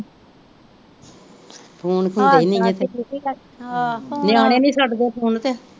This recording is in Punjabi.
ਫੋਨ ਹੁੰਦੇ ਈ ਨਹੀਂ ਗੇ ਤੇ ਨਿਆਣੇ ਨਹੀਂ ਛੱਡ ਦੇ ਫੋਨ ਤੇ।